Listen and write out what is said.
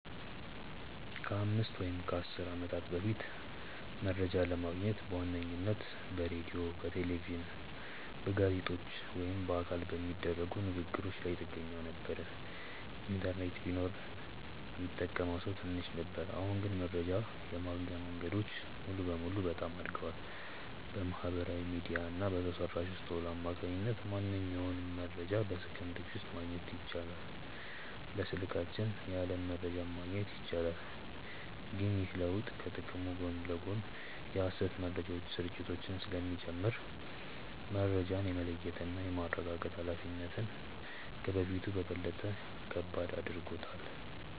ከአምስት ወይም ከአሥር ዓመታት በፊት መረጃ ለማግኘት በዋነኝነት በሬዲዮ፣ በቴሌቪዥን፣ በጋዜጦች ወይም በአካል በሚደረጉ ንግ ግሮች ላይ ጥገኛ ነበርን። ኢንተርኔት ቢኖርም ሚጠቀመው ሰው ትንሽ ነበር። አሁን ግን መረጃ የማግኛው መንገድ ሙሉ በሙሉ በጣም አድጓል። በማህበራዊ ሚዲያ እና በሰው ሰራሽ አስውሎት አማካኝነት ማንኛውንም መረጃ በሰከንዶች ውስጥ ማግኘት ይቻላል። በስልካችን የዓለም መረጃን ማግኘት ይቻላል። ግን ይህ ለውጥ ከጥቅሙ ጎን ለጎን የሐሰተኛ መረጃዎች ስርጭትን ስለሚጨምር፣ መረጃን የመለየትና የማረጋገጥ ኃላፊነታችንን ከበፊቱ በበለጠ ከባድ አድርጎታል።